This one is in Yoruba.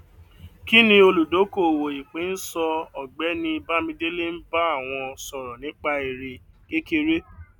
kí ni olùdókòwò ìpín ń sọ ọgbẹni bámidélé ń bá àwọn sọrọ nípa èrè kékeré